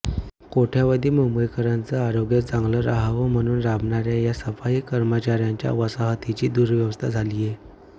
कोट्यवधी मुंबईकरांचं आरोग्य चांगलं राहावं म्हणून राबणाऱ्या या सफाई कर्मचाऱ्यांच्या वसाहतींची दुरवस्था झालीये